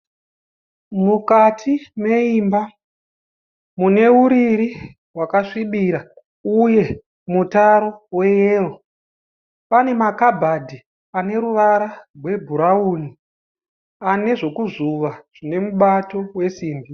Mukati meimba mune uriri hwakasvibira uye mutaro weyero. Pane makabhadhi ane ruvara rwebhurawuni ane zvekuzvuva zvine mubato wesimbi.